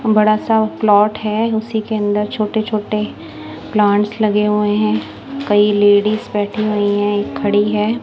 बड़ा सा प्लाट है। उसी के अंदर छोटे-छोटे प्लांट्स लगे हुए हैं। कई लेडीज बैठी हुई है एक खड़ी है।